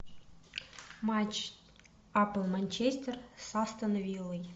матч апл манчестер с астон виллой